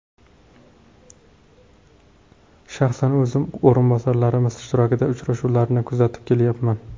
Shaxsan o‘zim o‘rinbosarlarimiz ishtirokidagi uchrashuvlarni kuzatib kelyapman.